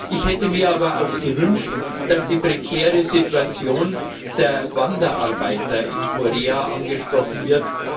Ich hätte mir aber auch gewünscht, dass die prekäre Situation der Wanderarbeiter in Korea angesprochen wird.